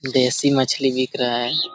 देसी मछली बिक रहा है।